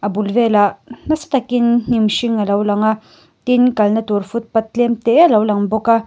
a bul velah nasa takin hnim hring a lo lang a tin kalna tur footpath tlem te a lo lang bawk a.